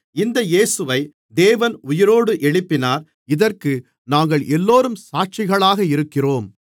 இந்த இயேசுவை தேவன் உயிரோடு எழுப்பினார் இதற்கு நாங்கள் எல்லோரும் சாட்சிகளாக இருக்கிறோம்